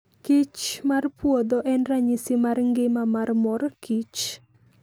Kich mar puodho en ranyisi mar ngima mar mor kich.